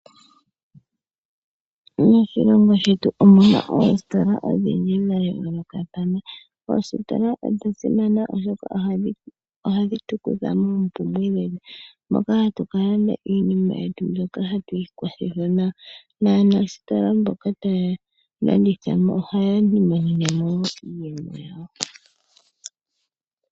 Moshilongo shetu omuna oositola odhindji dha yoolokathana, oositola odha simana, oshoka ohadhi tu kutha moompumbwe dhetu moka hatu ka landa iinima yetu mbyoka hatu ikwa thitha nayo, naanasitola mboka taya landitha mo ohaya imonene mo iiyemo yawo.